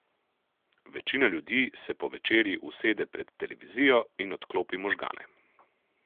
Večina ljudi se po večerji usede pred televizijo in odklopi možgane.